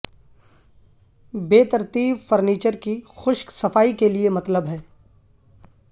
بے ترتیب فرنیچر کی خشک صفائی کے لئے مطلب ہے